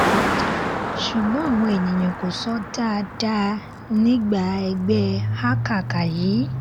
ṣùgbọ́n àwọn èèyàn kò sọ dáadáa nígbà ẹgbẹ́ hákàkà yìí